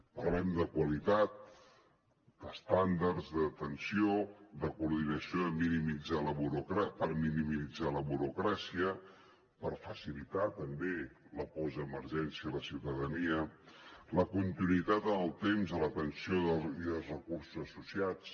parlem de qualitat d’estàndards d’atenció de coordinació per minimitzar la burocràcia per facilitar també la postemergència a la ciutadania la continuïtat en el temps de l’atenció i els recursos associats